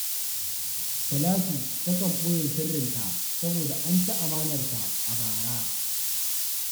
Talatu takan ɓoye sirrinta saboda an ci amanarta a bara